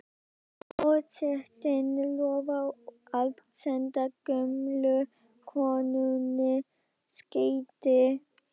Forsetinn lofar að senda gömlu konunni skeyti.